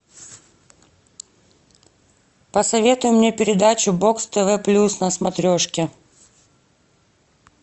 посоветуй мне передачу бокс тв плюс на смотрешке